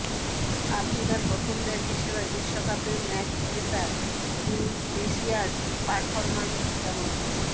আফ্রিকার প্রথম দেশ হিসাবে বিশ্বকাপে ম্যাচ জেতা তিউনিশিয়ার পারফরম্যান্স কেমন